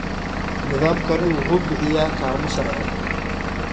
Nidaamkani wuxuu bixiyaa kaalmo sharci.